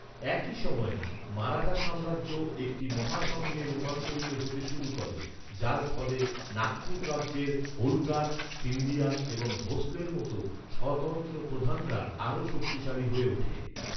একই সময়ে, মারাঠা সাম্রাজ্য একটি মহাসঙ্ঘে রূপান্তরিত হতে শুরু করে, যার ফলে নাগপুর রাজ্যের হোলকার, সিন্ধিয়া এবং ভোঁসলের মতো স্বতন্ত্র প্রধানরা আরও শক্তিশালী হয়ে ওঠে।